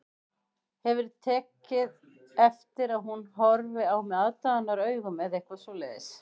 Hefurðu tekið eftir að hún horfi á mig aðdáunaraugum eða eitthvað svoleiðis